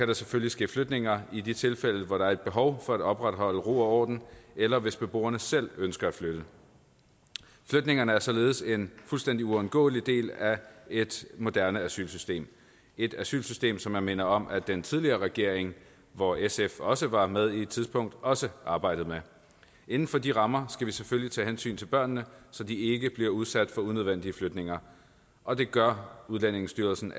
der selvfølgelig ske flytninger i de tilfælde hvor der er et behov for at opretholde ro og orden eller hvis beboerne selv ønsker at flytte flytningerne er således en fuldstændig uundgåelig del af et moderne asylsystem et asylsystem som jeg minder om at den tidligere regering hvor sf også var med på et tidspunkt også arbejdede med inden for de rammer skal vi selvfølgelig tage hensyn til børnene så de ikke bliver udsat for unødvendige flytninger og det gør udlændingestyrelsen